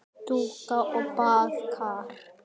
Dúna og Barði.